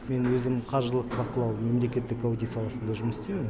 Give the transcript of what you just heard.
мен өзім қаржылық бақылау мемлекеттік аудио саласында жұмыс істеймін